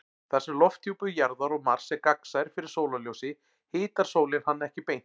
Þar sem lofthjúpur Jarðar og Mars er gagnsær fyrir sólarljósi hitar sólin hann ekki beint.